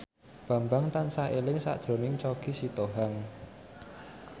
Bambang tansah eling sakjroning Choky Sitohang